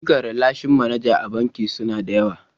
Ayyukan ralashin manaja a banki suna da yawa.